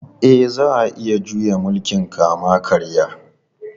E, za a iya jujjuya mulkin kama-karya.